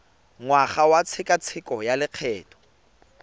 ngwaga wa tshekatsheko ya lokgetho